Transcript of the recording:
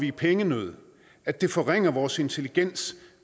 i pengenød at det forringer vores intelligens